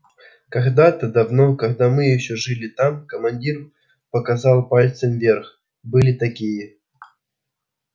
когда-то давно когда мы ещё жили там командир показал пальцем вверх были такие